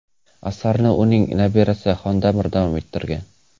Asarni uning nabirasi Xondamir davom ettirgan.